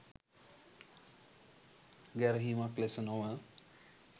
ගැරහීමක් ලෙස නොව